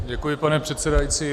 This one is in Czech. Děkuji, pane předsedající.